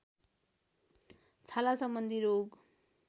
छाला सम्बन्धी रोग